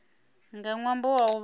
nga ṅwambo wa u vha